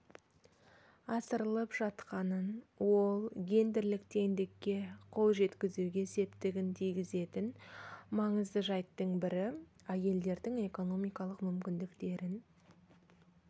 асырылып жатқанын ол гендерлік теңдікке қол жеткізуге септігін тигізетін маңызды жайттың бірі әйелдердің экономикалық мүмкіндіктерін